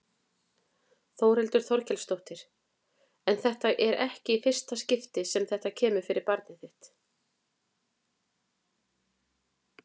Þórhildur Þorkelsdóttir: En þetta er ekki í fyrsta skipti sem þetta kemur fyrir barnið þitt?